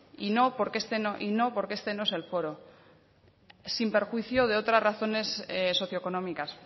y no porque este no es el foro sin perjuicio de otras razones socioeconómicas